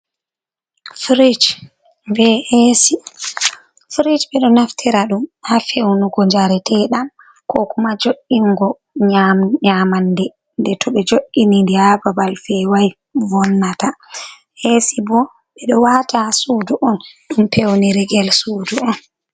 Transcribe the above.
Frij be esi. Frij ɓe ɗo naftira ɗum haa fewnugo njareteɗam, ko kuma jo’ingo nyamande de to ɓe jo’inindi haa babal fewai vonnata. Esi bo ɓe ɗo waata haa suudu on ɗum pewnirigel suudu on.